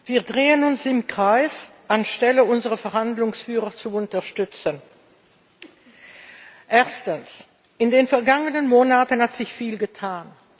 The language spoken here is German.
Wir drehen uns im Kreis, anstatt unsere Verhandlungsführer zu unterstützen. Erstens In den vergangenen Monaten hat sich viel getan.